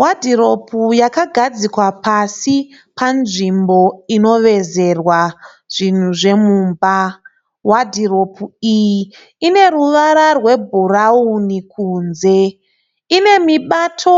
Wadhiropu yakagadzikwa pasi panzvimbo inovezerwa zvinhu zvemumba. Wadhiropu iyi ine ruvara rwebhurauni kunze. Ine mubato